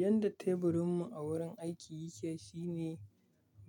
Yadda teburin mu a wurin aiki yake, shine